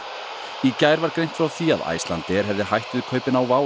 í gær var greint frá því að Icelandair hefði hætt við kaupin á WOW